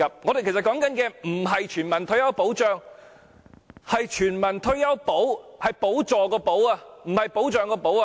其實，我們說的不是全民退休保障，而是全民退休"補"，是補助的補，而不是保障的"保"。